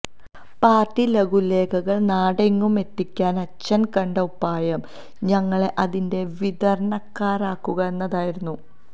party ലഘുലേഖകള് നാടെങ്ങും എത്തിക്കാന് അച്ഛന് കണ്ട ഉപായം ഞങ്ങളെ അതിന്റെ വിതരണക്കാരാക്കുക എന്നതായിരുന്നു